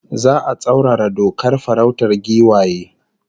Za'a tsaurara dokar farautar giwaye